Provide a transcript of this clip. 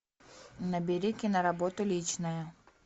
набери киноработу личное